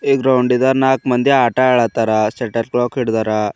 ಈ ಗ್ರೌಂಡ್ ಇದ ನಾಕ್ ಮಂದಿ ಆಟ ಆಡತ್ತಾರ ಶಟಲ್ ಕಾಕ್ ಹಿಡ್ಡರಾ.